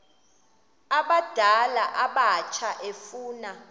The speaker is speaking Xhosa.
abadala abatsha efuna